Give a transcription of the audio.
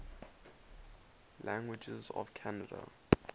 languages of canada